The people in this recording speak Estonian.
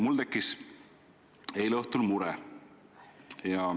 Mul tekkis eile õhtul mure.